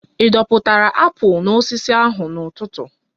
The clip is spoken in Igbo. Ị dọpụtara apụl n'osisi ahụ n'ụtụtụ?